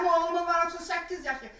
Mənim oğlumun var 38 yaşı.